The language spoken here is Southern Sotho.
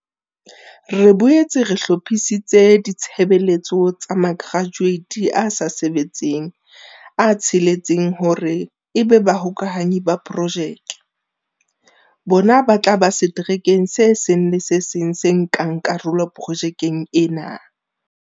Re boetse re hlo phisitse ditshebeletso tsa makratueiti a sa sebetseng a tsheletseng hore ebe Ba -hokahanyi ba Projeke. Bona ba tla ba seterekeng se seng le se seng se nkang karolo projekeng ena.